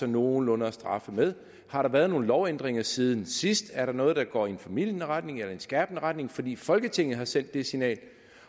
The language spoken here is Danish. nogenlunde at straffe med har der været nogen lovændringer siden sidst er der noget der går i en formildende retning eller i en skærpende retning fordi folketinget har sendt det signal